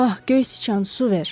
Ah, göy sıçan, su ver.